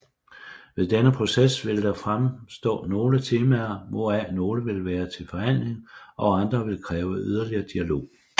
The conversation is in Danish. Efter denne proces vil der fremstå nogle temaer hvoraf nogle vil være til forhandling og andre vil kræve yderligere dialog